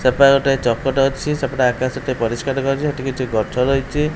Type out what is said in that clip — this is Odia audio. ସେ ପାଖେ ଗୋଟେ ଚକଟେ ଅଛି ସେପଟେ ଆକାଶଟେ ପରିଷ୍କାର ଦେଖାହଉଚି ହେଠି କିଛି ଗଛ ରହିଚି।